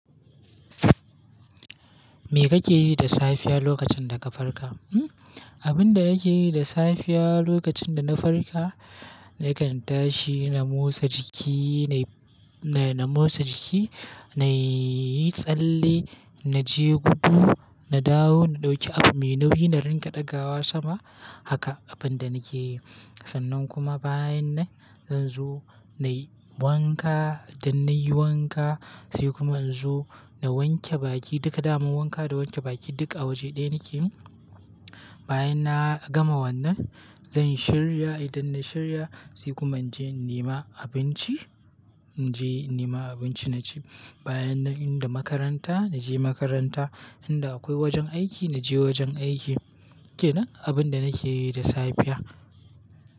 Me kake yi da safiya lokacin da ka farka? Abin da nake yi da safiya lokacin da na farka, nakan tashi na motsa jiki, na, na, na motsa jiki, na yi tsalle, na je gudu, na dawo, na ɗauki abu mai nauyi, na riƙa ɗagawa sama. Haka abin da nake yi. Sannan kuma bayan nan zan zo na yi wanka. Dan na yi wanka sai kuma in zo na wanke baki. Duka daman wanka da wanke baki duk a waje ɗaya nake yi. Bayan na gama wannan zan shirya. Idan na shirya sai kuma in je in nema abinci. In je in nema abinci na ci. Bayan nan in da makaranta na je makaranta, in da akwai wajen aiki na je wajen aiki. Ke nan abin da nake yi da safiya.